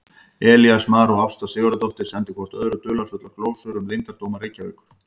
Elías Mar og Ásta Sigurðardóttir sendu hvort öðru dularfullar glósur um leyndardóma Reykjavíkur.